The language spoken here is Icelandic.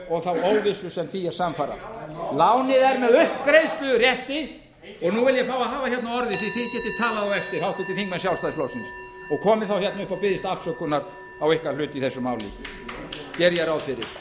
og þá óvissu sem því er samfara lánið er með uppgreiðslurétti og nú vil ég fá að hafa hérna orðið því þið getið talað á eftir háttvirtir þingmenn sjálfstæðisflokksins og komið þá hérna upp og beðist afsökunar á ykkar hlut í þessu máli geri ég ráð fyrir